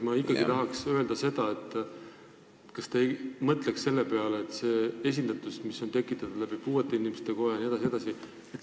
Ma ikkagi tahaks öelda, et kas te ei mõtleks selle esindatuse peale, mis on tekitatud puuetega inimeste koja kaudu jne.